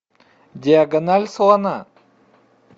диагональ слона